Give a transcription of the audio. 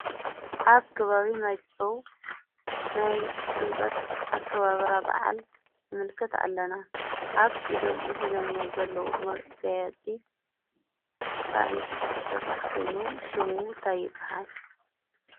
ኣብ ከባቢ ማይጨው ናይ ጥምቀት ኣከባብራ በዓል ንምልከት ኣለና፡፡ ኣብ ኢዶም ሒዘምዎ ዘለዉ መጋየፂ ካብ ዕንጨይቲ ዝስራሕ ኾይኑ ሽሙ እንታይ ይባሃል?